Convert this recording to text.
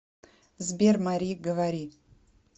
сбер мари говори